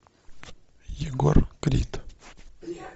егор крид